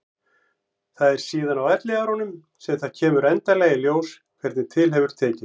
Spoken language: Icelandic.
Það er síðan á elliárunum sem það kemur endanlega í ljós hvernig til hefur tekist.